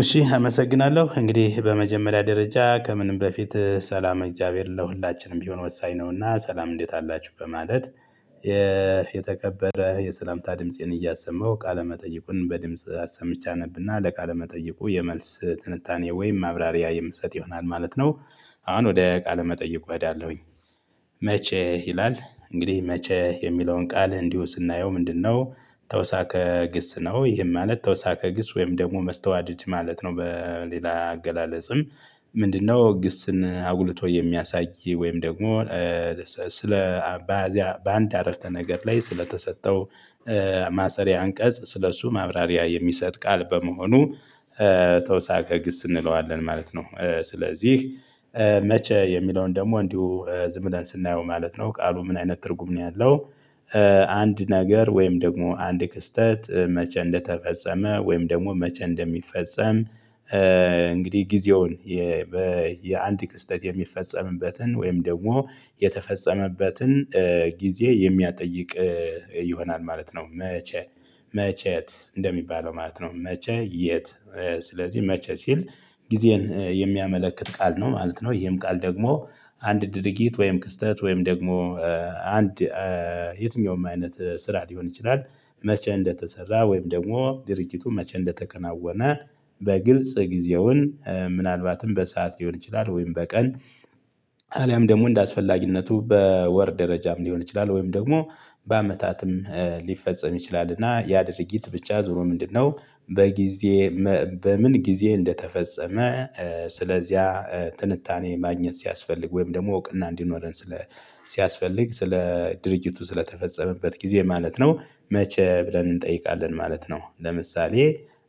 እሺ አመሰግናለሁ እንግዲህ በመጀመሪያ ደረጃ ከምንም በፊት ሰላም እግዚአብሔር ለሁላችንም ቢሆን ወሳኝ ነውና ሰላም እንዴት አላችሁ በማለት። የተከበረ የሰላምታ ድምፄን እያሰማው ቃለ መጠይቁን በድምጽ አሰምቼ አነብና ለቃለ መጠይቁ የመልስ ትንታኔ ወይም ማብራሪያ የምሰጥ ይሆናል ማለት ነው። አሁን ወደ ቃል መጠየቁ እሄዳለውኝ። መቼ ይላል? እንግዲህ መቼ የሚለውን ቃል እንዲሁ ስናየው ምንድነው? ተወሳከ ግስ ነው ይሄም ማለት ተወሳከ ግስ ወይም ደግሞ መስተዋደድ ማለት ነው በሌላ አገላለጽም። ምንድነው ግስን አጉልቶ የሚያሳይ ወይም ደግሞ? ስለ በአንድ አረፍተ ነገር ላይ ስለተሰጠው ማሰሪያ አንቀጽ ስለ እሱ ማብራሪያ የሚሰጥ ቃል በመሆኑ ተውሳከ ግስ እንለዋለን ማለት ነው። ስለዚህ መቼ የሚለውን ደግሞ እንዲሁ ዝም ብለን ስናየው ማለት ነው ቃሉ ምን አይነት ትርጉም ነው ያለው? አንድ ነገር ወይም ደግሞ አንድ ክስተት መቼ እንደተፈጸመ ወይም ደግሞ መቼ እንደሚፈጸም? እንግዲህ ጊዜውን በየአንድ ክስተት የሚፈጸምበትን ወይም ደግሞ የተፈጸመበትን ጊዜ የሚያጠይቅ ይሆናል ማለት ነው። መቼ? መቼት እንደሚባለው ማለት ነው። መቼ የት? ስለዚህ መቼ ሲል ጊዜን የሚያመለክት ቃል ነው ማለት ነው። ይሄም ቃል ደግሞ አንድ ድርጊት ወይም ክስተት ወይም ደግሞ አንድ የትኛውም አይነት ስራ ሊሆን ይችላል። መቼ እንደተሰራ ወይም ደግሞ ድርጅቱ መቼ እንደተከናወነ በግልጽ ጊዜውን ምናልባትም በሰአት ሊሆን ይችላል ወይም በቀን። አልያም ደግሞ እንደ አስፈላጊነቱ በወር ደረጃም ሊሆን ይችላል ወይም ደግሞ በአመታትም ሊፈጸም ይችላል። እና ያ ድርጊት ብቻ ዙሮ ምንድነው? በጊዜ በምን ጊዜ እንደተፈጸመ ስለዚያ ትንታኔ ማግኘት ሲያስፈልግ ወይም ደግሞ እውቅና እንዲኖረን ስለ ሲያስፈልግ ስለ ድርጅቱ ስለተፈጸመበት ጊዜ ማለት ነው። መቼ ብለን እንጠይቃለን ማለት ነው። ለምሳሌ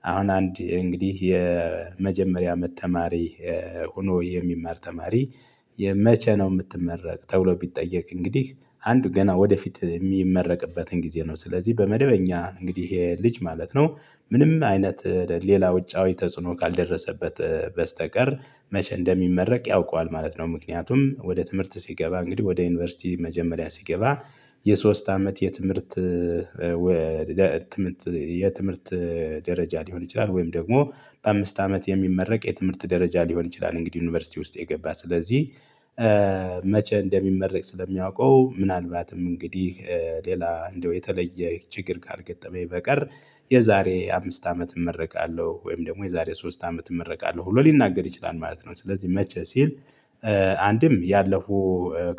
አሁን አንድ እንግዲህ የመጀመሪያ አመት ተማሪ ሆኖ የሚማር ተማሪ የመቼ ነው የምትመረቅ ተብሎ ቢጠየቅ እንግዲህ አንዱ ገና ወደፊት የሚመረቅበትን ጊዜ ነው ስለዚህ በመደበኛ እንግዲህ ይሄ ልጅ ማለት ነው። ምንም አይነት ሌላ ውጫዊ ተጽዕኖ ካልደረሰበት በስተቀር መቼ እንደሚመረቅ ያውቀዋል ማለት ነው። ምክንያቱም ወደ ትምህርት ሲገባ እንግዲህ ወደ ዩኒቨርሲቲ መጀመሪያ ሲገባ የሶስት አመት የትምህርት ትምህርት የትምህርት ደረጃ ሊሆን ይችላል። ወይም ደግሞ በአምስት አመት የሚመረቅ የትምህርት ደረጃ ሊሆን ይችላል። እንግዲህ ዩኒቨርሲቲ ውስጥ የገባ ስለዚህ መቼ እንደሚመረቅ ስለሚያውቀው ምናልባትም እንግዲህ ሌላ እንደው የተለየ ችግር ካልገጠመኝ በቀር የዛሬ አምስት አመት እመረቃለሁ ወይም ደግሞ የዛሬ ሶስት አመት እመረቃለሁ ብሎ ሊናገር ይችላል ማለት ነው። ስለዚህ መቼ ሲል አንድም ያለፉ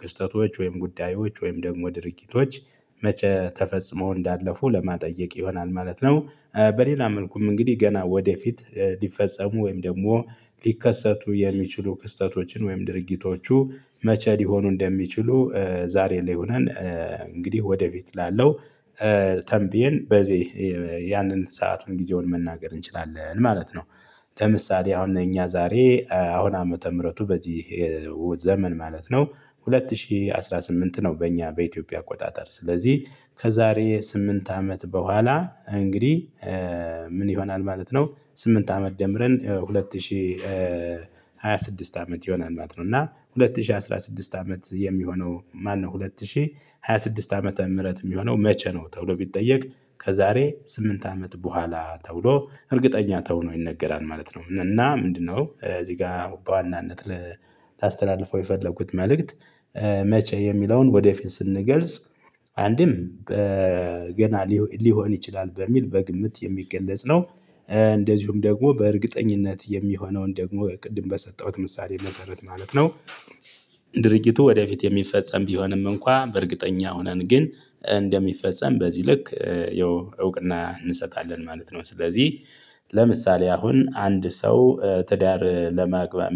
ክስተቶች ወይም ጉዳዮች ወይም ደግሞ ድርጊቶች መቼ ተፈጽሞ እንዳለፉ ለማጠየቅ ይሆናል ማለት ነው። በሌላ መልኩም እንግዲህ ገና ወደፊት ሊፈጸሙ ወይም ደግሞ ሊከሰቱ የሚችሉ ክስተቶችን ወይም ድርጊቶቹ መቼ ሊሆኑ እንደሚችሉ ዛሬ ላይ ሆነን እንግዲህ ወደፊት ላለው ተንብየን በዚህ ያንን ሰአቱን ጊዜውን መናገር እንችላለን ማለት ነው። ለምሳሌ አሁን እኛ ዛሬ አሁን ዓመተ ምህረቱ በዚህ ዘመን ማለት ነው። ሁለት ሺህ አስራ ስምንት ነው በእኛ በኢትዮጵያ አቆጣጠር ስለዚህ ከዛሬ ስምንት አመት በኋላ እንግዲህ ምን ይሆናል ማለት ነው። ስምንት አመት ደምረን ሁለት ሺህ ሃያ ስድስት አመት ይሆናል ማለት ነው። እና ሁለት ሺህ አስራ ስድስት አመት የሚሆነው ማነው? ሁለት ሺህ ሃያ ስድስት ዓመተ ምህረት የሚሆነው መቼ ነው? ተብሎ ቢጠየቅ ከዛሬ ስምንት አመት በኋላ ተብሎ እርግጠኛ ተውኖ ይነገራል ማለት ነው። እና ምንድነው? እዚህ ጋር በዋናነት ላስተላልፈው የፈለኩት መልእክት። መቼ የሚለውን ወደፊት ስንገልጽ አንድም ገና ሊሆን ይችላል በሚል በግምት የሚገለጽ ነው። እንደዚሁም ደግሞ በእርግጠኝነት የሚሆነውን ደግሞ ቅድም በሰጠሁት ምሳሌ መሰረት ማለት ነው። ድርጊቱ ወደፊት የሚፈጸም ቢሆንም እንኳን በእርግጠኛ ሆነን ግን እንደሚፈጸም በዚህ ልክ ያው እውቅና እንሰጣለን ማለት ነው። ስለዚህ ለምሳሌ አሁን አንድ ሰው ትዳር ለማግባት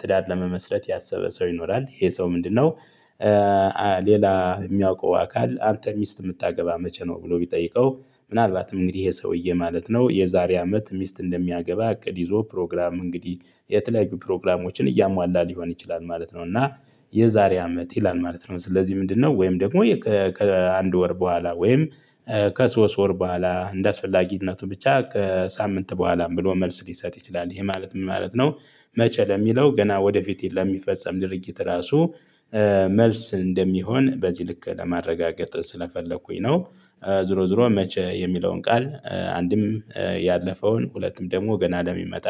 ትዳር ለመመስረት ያሰበ ሰው ይኖራል ይሄ ሰው ምንድነው? ሌላ የሚያውቀው አካል አንተን ሚስት የምታገባ መቼ ነው? ብሎ ቢጠይቀው ምናልባትም እንግዲህ ይሄ ሰውዬ ማለት ነው የዛሬ አመት ሚስት እንደሚያገባ እቅድ ይዞ ፕሮግራም እንግዲህ የተለያዩ ፕሮግራሞችን እያሟላ ሊሆን ይችላል ማለት ነው። እና የዛሬ አመት ይላል ማለት ነው። ስለዚህ ምንድነው? ወይም ደግሞ ከአንድ ወር በኋላ ወይም ከሶስት ወር በኋላ እንደአስፈላጊነቱ ብቻ ከሳምንት በኋላም ብሎ መልስ ሊሰጥ ይችላል ይሄ ማለት ምን ማለት ነው? መቼ ለሚለው ገና ወደፊት ለሚፈጸም ድርጊት ራሱ መልስ እንደሚሆን በዚህ ልክ ለማረጋገጥ ስለፈለኩኝ ነው። ዞሮ ዞሮ መቼ የሚለውን ቃል አንድም ያለፈውን ሁለቱም ደግሞ ገና ለሚመጣ